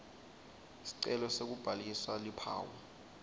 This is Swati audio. sicelo sekubhalisa luphawu